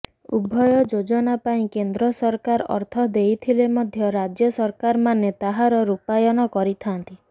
ଉଭୟ ଯୋଜନା ପାଇଁ କେନ୍ଦ୍ର ସରକାର ଅର୍ଥ ଦେଉଥିଲେ ମଧ୍ୟ ରାଜ୍ୟ ସରକାରମାନେ ତାହାର ରୂପାୟନ କରିଥାନ୍ତି